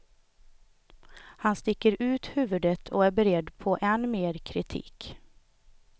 Han sticker ut huvudet och är beredd på än mer kritik.